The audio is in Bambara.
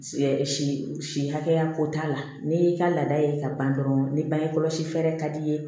si si si hakɛya ko t'a la n'i y'i ka laada ye ka ban dɔrɔn ni bangekɔlɔsi fɛɛrɛ ka d'i ye